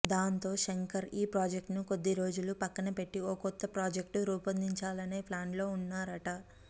దాంతో శంకర్ ఈ ప్రాజెక్ట్ను కొద్ది రోజులు పక్కన పెట్టి ఓ కొత్త ప్రాజెక్ట్ రూపొందించాలనే ప్లాన్లో ఉన్నారట